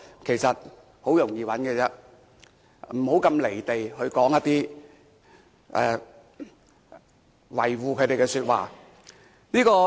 其實很容易找到，不要"離地"說一些維護他們的說話。